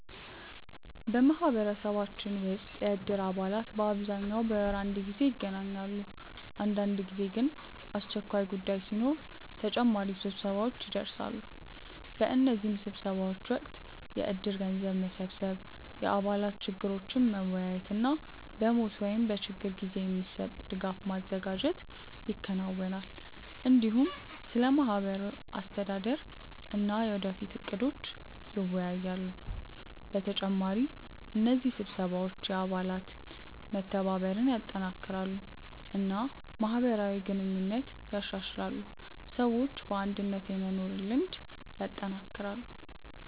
በማህበረሰባችን ውስጥ የእድር አባላት በአብዛኛው በወር አንድ ጊዜ ይገናኛሉ። አንዳንድ ጊዜ ግን አስቸኳይ ጉዳይ ሲኖር ተጨማሪ ስብሰባዎች ይደርሳሉ። በእነዚህ ስብሰባዎች ወቅት የእድር ገንዘብ መሰብሰብ፣ የአባላት ችግሮችን መወያየት እና በሞት ወይም በችግር ጊዜ የሚሰጥ ድጋፍ ማዘጋጀት ይከናወናል። እንዲሁም ስለ ማህበሩ አስተዳደር እና የወደፊት እቅዶች ይወያያሉ። በተጨማሪ እነዚህ ስብሰባዎች የአባላት መተባበርን ያጠናክራሉ እና ማህበራዊ ግንኙነትን ያሻሽላሉ፣ ሰዎችም በአንድነት የመኖር ልምድ ያጠናክራሉ።